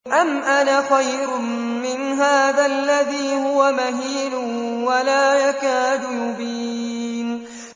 أَمْ أَنَا خَيْرٌ مِّنْ هَٰذَا الَّذِي هُوَ مَهِينٌ وَلَا يَكَادُ يُبِينُ